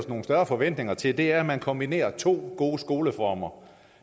nogle større forventninger til og det er at man kombinerer to gode skoleformer